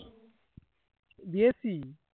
দিয়েছি